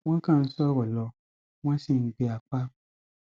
wọn kàn ń sọrọ lọ wọn sí ń gbé apá